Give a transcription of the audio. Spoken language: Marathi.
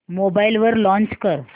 मोबाईल वर लॉंच कर